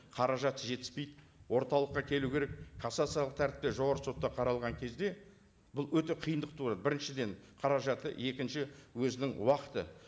қаражаты жетіспейді орталыққа келу керек кассациялық тәртіпте жоғарғы сотта қаралған кезде бұл өте қиындық туады біріншіден қаражаты екінші өзінің уақыты